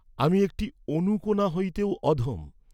আমি একটি অণুকণা হইতেও অধম।